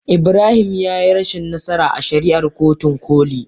Ibrahim ya yi rashin nasara a shari'ar kotun koli.